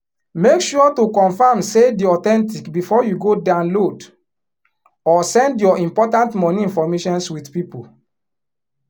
make sure to confirm say di authentic before u go download or send your important money informations with people